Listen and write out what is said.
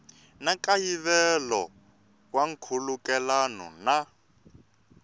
na nkayivelo wa nkhulukelano na